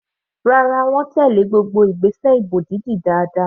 Rárá, wọ́n tèlé gbogbo ìgbésẹ̀ ìbò dídì dáadáa.